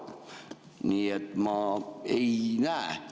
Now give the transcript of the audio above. Nii et ma ei näe.